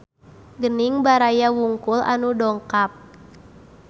Gening baraya wungkul anu dongkap